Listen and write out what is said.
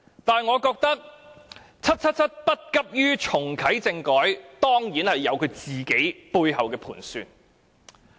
但是，我認為 "777" 不急於重啟政改，當然是有其背後的盤算。